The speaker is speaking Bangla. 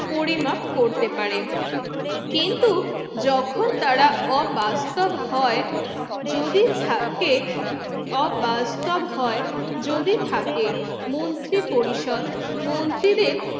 পরিমাপ করতে পারে যখন তারা অবাস্ত হয় যদি থাকে অবাস্ত হয় যদি থাকে মন্ত্রী পরিষদ মন্ত্রীদের